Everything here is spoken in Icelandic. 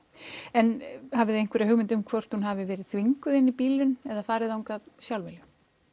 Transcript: en hafið þið einhverja hugmynd um hvort hún hafi verið þvinguð inn í bílinn eða farið þangað sjálfviljug